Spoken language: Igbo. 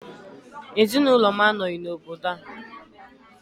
Ezinụlọ m anọghị n'obodo a